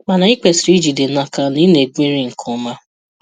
Mana ị kwesịrị ijide n'aka na ị na-egweri nke ọma.